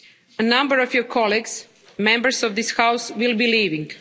A number of your colleagues, Members of this House, will be leaving.